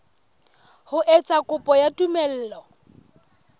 ho etsa kopo ya tumello